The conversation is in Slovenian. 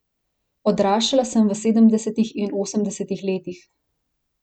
Odraščala sem v sedemdesetih in osemdesetih letih.